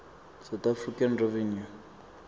south african revenue